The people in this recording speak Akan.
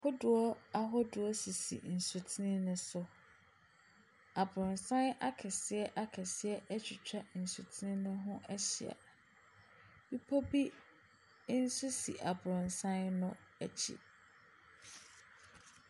Kodoɔ ahodoɔ sisi nsutene ne so, abrɔsan akɛseɛ akɛseɛ atwitwa nsutene ne ho ahyia. Bepɔ bi nso si abrɔsan no akyi.